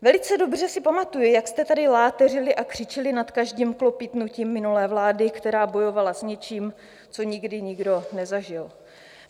Velice dobře si pamatuji, jak jste tady láteřili a křičeli nad každým klopýtnutím minulé vlády, která bojovala s něčím, co nikdy nikdo nezažil.